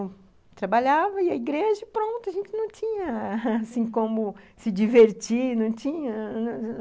E eu trabalhava, ia à igreja e pronto, a gente não tinha, assim, como se divertir, não tinha.